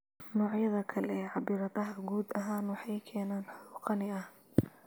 Noocyada kale ee cabbiraadaha guud ahaan waxay keeneen xog qani ah.